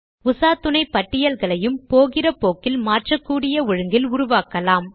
உசாத்துணை பட்டியல்களையும் போகிற போக்கில் மாற்றக்கூடிய ஒழுங்கில் உருவாக்கலாம்